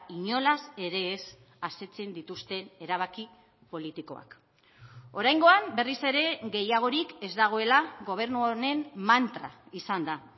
inolaz ere ez asetzen dituzten erabaki politikoak oraingoan berriz ere gehiagorik ez dagoela gobernu honen mantra izan da